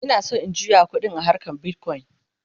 Ina San in juya ƙuɗi a harkan bitcoin